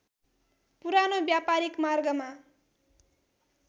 पुरानो व्‍यापारिक मार्गमा